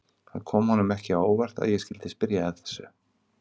Það kom honum ekki á óvart að ég skyldi spyrja að þessu.